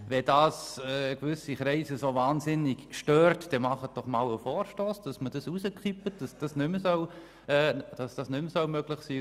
Wenn sich gewisse Kreise so wahnsinnig daran stören, sollen sie doch einen Vorstoss einreichen, der verlangt, dass diese nicht mehr möglich sind.